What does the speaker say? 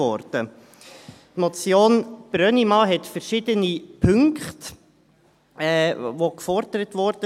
Die Motion Brönnimann enthält verschiedene Punkte, die gefordert wurden.